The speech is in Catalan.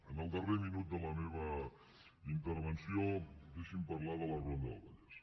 en el darrer minut de la meva intervenció deixi’m parlar de la ronda del vallès